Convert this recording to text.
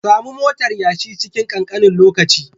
Samu motar yashi cikin kankanin lokaci